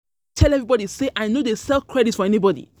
everybodi sey I no dey sell credit for anybodi.